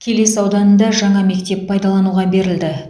келес ауданында жаңа мектеп пайдалануға берілді